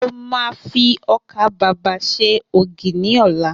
Mo ma fi ọkà babà ṣe ògì ni ọlá